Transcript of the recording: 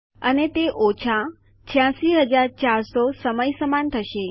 અને તે ઓછા 86400 સમય સમાન થશે